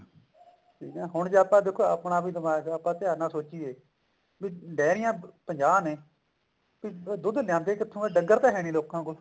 ਠੀਕ ਆ ਹੁਣ ਜੇ ਆਪਾਂ ਦੇਖੋ ਆਪਣਾ ਵੀ ਦਿਮਾਗ ਹੈ ਆਪਾਂ ਧਿਆਨ ਨਾਲ ਸੋਚਿਏ ਵੀ ਡੇਰਿਆਂ ਪੰਜਾਹ ਨੇ ਵੀ ਦੁੱਧ ਲੈਂਦੇ ਕਿੱਥੋਂ ਆ ਡੰਗਰ ਤਾਂ ਹੈ ਨੀ ਲੋਕਾਂ ਕੋਲ